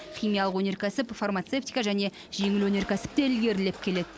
химиялық өнеркәсіп фармацевтика және жеңіл өнеркәсіп те ілгерілеп келеді